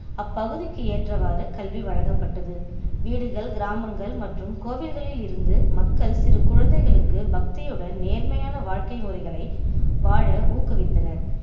அப்பகுதிக்கு ஏற்றவாறு கல்வி வழங்கப்பட்டது வீடுகள் கிராமங்கள் மற்றும் கோவில்களில் இருந்து மக்கள் சிறு குழந்தைகளுக்கு பக்தியுடன் நேர்மையான வாழ்க்கை முறைகளை வாழ ஊக்குவித்தனர்